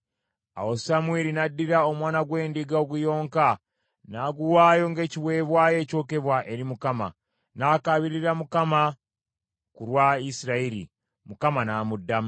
Awo Samwiri n’addira omwana gw’endiga oguyonka n’aguwaayo ng’ekiweebwayo ekyokebwa eri Mukama , n’akaabirira Mukama ku lwa Isirayiri, Mukama n’amuddamu.